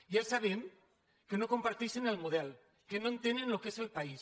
ja sabem que no comparteixen el mo·del que no entenen el que és el país